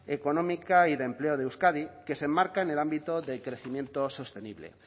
económica y de empleo de euskadi que se enmarca en el ámbito de crecimiento sostenible